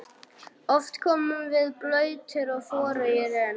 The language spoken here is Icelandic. Oft komum við blautir og forugir inn.